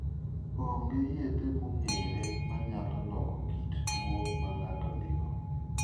Onge yedhe mong'ere manyalo loko kit tuwo ma ng'ato nigo.